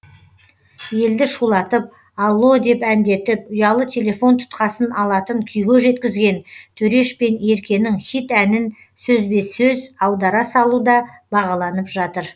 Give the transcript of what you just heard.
елді шулатып алло деп әндетіп ұялы телефон тұтқасын алатын күйге жеткізген төреш пен еркенің хит әнін сөзбе сөз аудара салу да бағаланып жатыр